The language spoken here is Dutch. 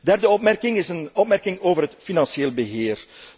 Derde opmerking is een opmerking over het financieel beheer.